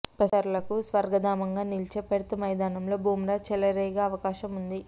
పేసర్లకు స్వర్గధామంగా నిలిచే పెర్త్ మైదానంలో బుమ్రా చెలరేగే అవకాశం ఉంది